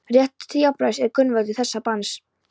Réttur til jafnræðis er grundvöllur þessa banns.